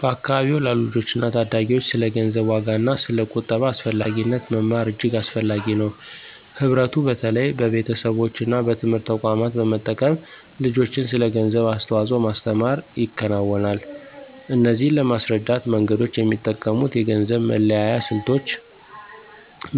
በአካባቢዎ ላሉ ልጆችና ታዳጊዎች ስለ ገንዘብ ዋጋና ስለ ቁጠባ አስፈላጊነት መማር እጅግ አስፈላጊ ነው። ህብረቱ በተለይ በቤተሰቦች እና በትምህርት ተቋማት በመጠቀም ልጆችን ስለ ገንዘብ አስተዋጽኦ ማስተምር ይከናወናል። እነዚህን ለማስረዳት መንገዶች የሚጠቀሙት የገንዘብ መለያየት ስልቶች፣